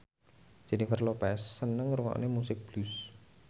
Jennifer Lopez seneng ngrungokne musik blues